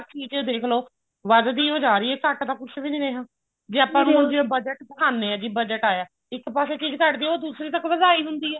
ਚੀਜ਼ ਦੇਖਲੋ ਵਧ ਦੀ ਓ ਜਾ ਰਹੀ ਹੈ ਘਟ ਤਾਂ ਕੁੱਛ ਵੀ ਨੀ ਰਿਹਾ ਵੀ ਆਪਾਂ ਨੂੰ ਹੁਣ ਜੇ budget ਦੇਖਾਉਣੇ ਹਾਂ ਵੀ budget ਆਇਆ ਇੱਕ ਪਾਸੇ ਚੀਜ਼ ਘਟਦੀ ਹੈ ਦੂਸਰੇ ਤੱਕ ਵਧਾਈ ਜਾਂਦੀ ਹੈ